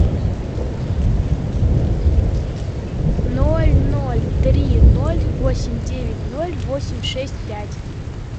ноль ноль три ноль восемь девять ноль восемь шесть пять